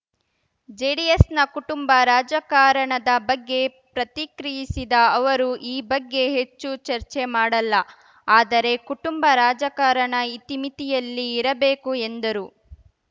ಜೆಡಿಎಸ್‌ನ ಕುಟುಂಬ ರಾಜಕಾರಣದ ಬಗ್ಗೆ ಪ್ರತಿಕ್ರಿಯಿಸಿದ ಅವರು ಈ ಬಗ್ಗೆ ಹೆಚ್ಚು ಚರ್ಚೆ ಮಾಡಲ್ಲ ಆದರೆ ಕುಟುಂಬ ರಾಜಕಾರಣ ಇತಿಮಿತಿಯಲ್ಲಿ ಇರಬೇಕು ಎಂದರು